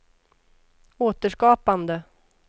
återskapande